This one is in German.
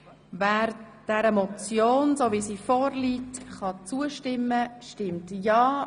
Wer der Motion in der vorliegenden Form zustimmen kann, stimmt ja,